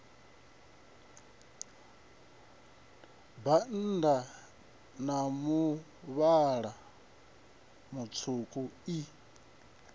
bannda a muvhala mutswuku i